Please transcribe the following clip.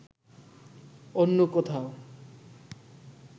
অন্য কোথাও